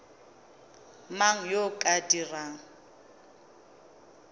mang yo o ka dirang